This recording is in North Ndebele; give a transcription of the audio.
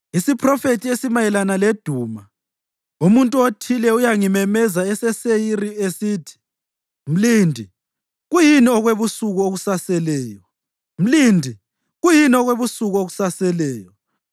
Isiphrofethi esimayelana leDuma: Umuntu othile uyangimemeza eseSeyiri, esithi, “Mlindi, kuyini okwebusuku okusaseleyo? Mlindi, kuyini okwebusuku okusaseleyo?”